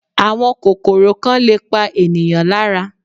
Àwọn kòkòrò kan lè pa ènìyàn lára